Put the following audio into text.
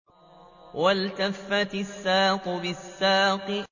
وَالْتَفَّتِ السَّاقُ بِالسَّاقِ